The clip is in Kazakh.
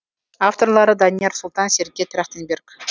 авторлары данияр сұлтан сергей трахтенберг